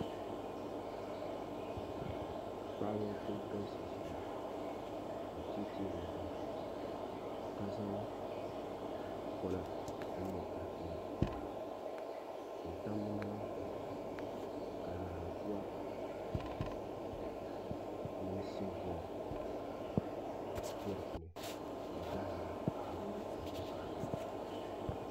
Paɣaba n ku galisi ʒiya n tiɛ tiɛ bi naba ʒiya ka zaŋ pona din nyɛ tahapona n tam bi naba zuɣu ka naanzuwa mini simbiɛlim bɛ di puuni ka bi gahanda la loori karili ʒɛ bi nyaanga